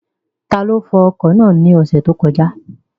Taló fọ ọkọ̀ náà ní ọ̀sẹ̀ tó kọjá?